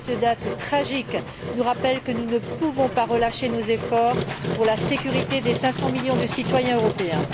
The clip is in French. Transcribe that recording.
Cette date tragique nous rappelle que nous ne pouvons pas relâcher nos efforts pour la sécurité des cinq cent millions de citoyens européens.